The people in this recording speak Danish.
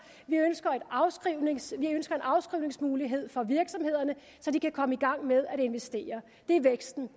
vi ønsker en afskrivningsmulighed for virksomhederne så de kan komme i gang med at investere det er væksten